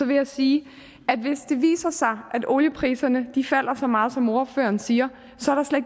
vil jeg sige at hvis det viser sig at oliepriserne falder så meget som ordføreren siger